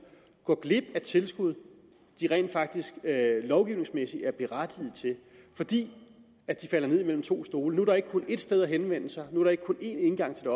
går glip af tilskud de rent faktisk lovgivningsmæssigt er berettiget til fordi de falder mellem to stole nu er der ikke kun ét sted at henvende sig nu er der ikke kun én indgang til